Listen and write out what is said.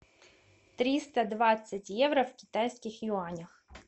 триста двадцать евро в китайских юанях